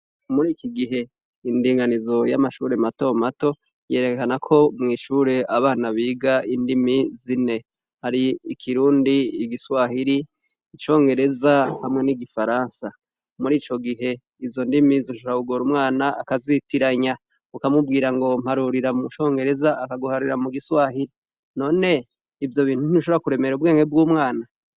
Muriki gihe indiganizo yamashure matomato yerekana ko mwishure abana biga indimi zine hari ikirundi igiswahili icongereza hamwe nigiswahili murico gihe izo ndimi zishobora kugora umwana akazitiranya ukamubwira ngo mparurira mucongereza akaguharurira mugiswahili none ivyo bintu ntibishobora kuremera ubwenge bwumwana